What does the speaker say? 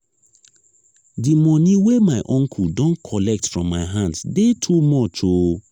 di moni wey my uncle don collect from my hand dey too much o.